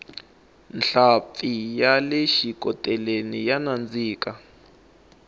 nhlampfi yale xikoteleni ya nandzika